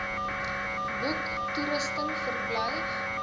boeke toerusting verblyf